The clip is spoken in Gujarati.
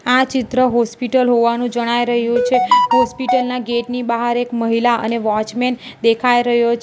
આ ચિત્ર હોસ્પિટલ હોવાનું જણાઇ રહ્યું છે હોસ્પિટલ ના ગેટ ની બહાર એક મહિલા અને વોચમેન દેખાઈ રહ્યો છે --